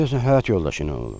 Deyəsən həyat yoldaşı ilə olub.